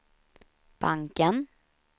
banken